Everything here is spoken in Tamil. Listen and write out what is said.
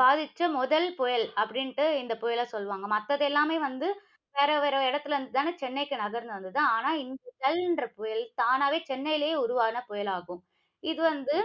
பாதிச்ச முதல் புயல், அப்படின்னு இந்தப் புயல சொல்லுவாங்க. மத்ததெல்லாமே வந்து, வேற வேற இடத்துல இருந்து தானே சென்னைக்கு நகர்ந்து வந்தது. ஆனா, இந்த ஜல் என்ற புயல், தானாவே சென்னையிலே உருவான புயலாகும்.